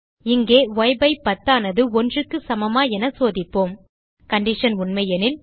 இங்கே ய்10 ஆனது 1க்கு சமமா என சோதிப்போம் கண்டிஷன் உண்மையெனில்